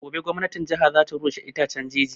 Gobe gwamnatin jiha za ta rushe itaccen jeji